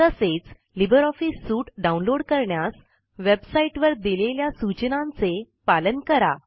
तसेच libre office suite download करण्यास वेबसाईटवर दिलेल्या सूचनांचे पालन करा